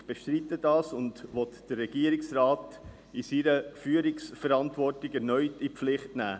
Ich bestreite dies und will den Regierungsrat in seiner Führungsverantwortung erneut in die Pflicht nehmen.